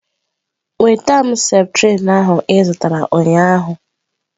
Nweta m septrin ahụ ị zụtara ụnyaahụ.